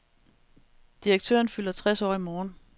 Direktøren fylder tres år i morgen.